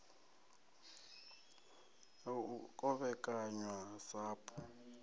ya u kovhekanywa ha sapu